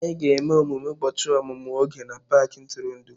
Anyị ga-eme emume ụbọchị ọmụmụ Oge na paaki ntụrụndụ.